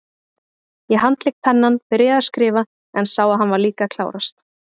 Ég handlék pennann, byrjaði að skrifa, en sá að hann var líka að klárast.